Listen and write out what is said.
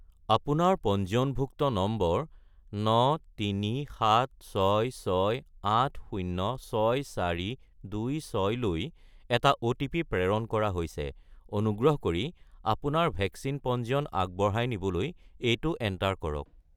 আপোনাৰ পঞ্জীয়নভুক্ত নম্বৰ 93766806426 -লৈ এটা অ'টিপি প্ৰেৰণ কৰা হৈছে, অনুগ্ৰহ কৰি আপোনাৰ ভেকচিন পঞ্জীয়ন আগবঢ়াই নিবলৈ এইটো এণ্টাৰ কৰক